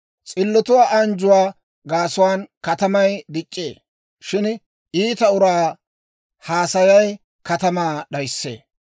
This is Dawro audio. S'illotuwaa anjjuwaa gaasuwaan katamay dic'c'ee; shin iita uraa haasayay katamaa d'ayissee.